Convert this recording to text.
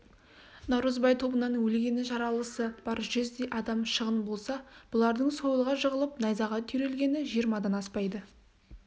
наурызбай тобынан өлгені жаралысы бар жүздей адам шығын болса бұлардың сойылға жығылып найзаға түйрелгені жиырмадан аспайды